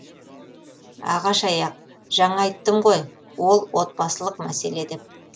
ағаш аяқ жаңа айттым ғой ол отбасылық мәселе деп